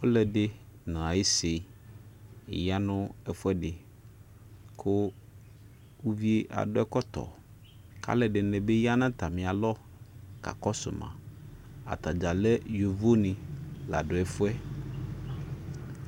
ɔluɛdi naisi yanu ɛfuɛdi ku uvi aduɛ ɛkɔtɔ kalɛdinibi yanatamialɔ kakakɔsuma ataja lɛ yovoni laduɛfuɛ